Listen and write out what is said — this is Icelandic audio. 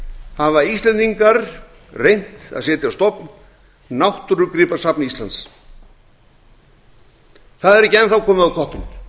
hafa íslendingar reynt að setja á stofn náttúrugripasafn íslands það er ekki enn þá komið á